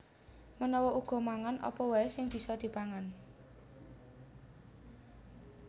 Menawa uga mangan apa waè sing bisa dipangan